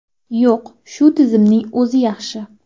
Yo‘q, shu tizimning o‘zi yaxshi.